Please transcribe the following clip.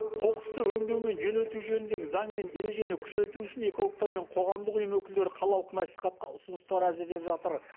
қоқысты өңдеу мен жөнелту жөніндегі заң мен ережені күшейту үшін экологтар мен қоғамдық ұйым өкілдері қалалық мәслихатқа ұсыныстар әзірлеп жатыр